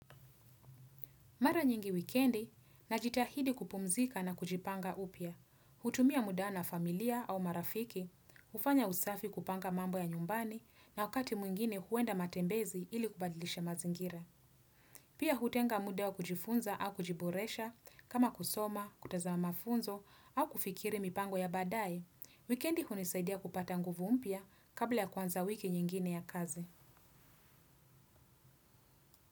Mara nyingi wikendi, najitahidi kupumzika na kujipanga upya, hutumia muda na familia au marafiki, hufanya usafi kupanga mambo ya nyumbani na wakati mwingine huenda matembezi ili kubadilisha mazingira. Pia hutenga muda wa kujifunza au kujiboresha, kama kusoma, kutazama mafunzo au kufikiri mipango ya badae, wikendi hunisaidia kupata nguvu mpya kabla ya kuanza wiki nyingine ya kazi.